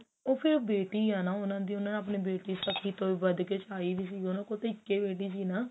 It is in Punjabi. ਉਹ ਫ਼ੇਰ ਉਹ ਬੇਟੀ ਆ ਨਾ ਉਹਨਾ ਦੀ ਉਹਨਾਂ ਨੇ ਬੇਟੀ ਸਖੀ ਤੋਂ ਵੀ ਵਧ ਕਿ ਚਾਹੀ ਸੀਗੀ ਉਹਨਾ ਕੋਲ ਇੱਕੋ ਬੇਟੀ ਸੀ ਨਾ